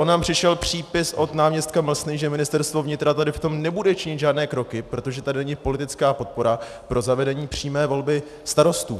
On nám přišel přípis od náměstka Mlsny, že Ministerstvo vnitra tady v tom nebude činit žádné kroky, protože tady není politická podpora pro zavedení přímé volby starostů.